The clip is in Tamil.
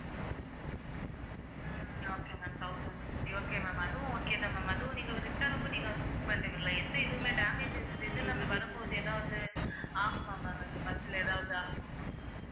உம் okay ma'am thousand fifty okay ma'am அதுவும் okay தான் ma'am அதுவும் நீங்க வந்து return க்கும் நீங்க வந்து book பண்றீங்க இல்லை எந்த இதுவுமே damage வரும்போது ஏதாவது ஆகுமா ma'am இந்த bus ல ஏதாவது ஆகுமா ma'am